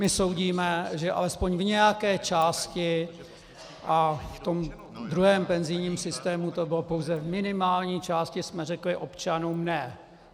My soudíme, že alespoň v nějaké části, a v tom druhém penzijním systému to bylo pouze v minimální části, jsme řekli občanům: Ne.